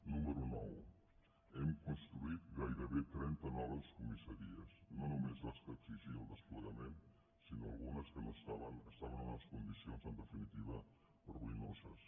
número nou hem construït gairebé trenta noves comis·saries no només les que exigia el desplegament sinó algunes que estaven en unes condicions en definitiva ruïnoses